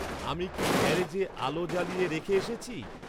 আমি কি গ্যারেজে আলো জ্বালিয়ে রেখে এসেছি?